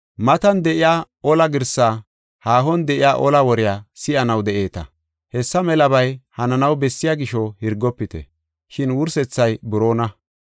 Matan de7iya ola girsaa, haahon de7iya ola wore si7anaw de7eeta. Hessa melabay hananaw bessiya gisho Hirgofite. Shin wursethay buroona.